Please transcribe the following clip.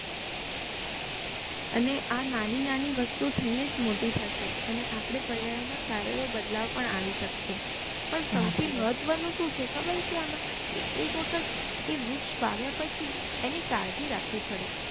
અને આ નાની નાની વસ્તુઓ થઇ ને જ મોટી થશે અને આપડે પર્યાવરણ માં સારો એવો બદલાવ પણ આવી શકશે પણ સૌથી મહત્વ નું શું છે ખબર છે આમાં કે એક વખત એ વૃક્ષ વાવ્યાં પછી એની કાળજી રાખવી પડે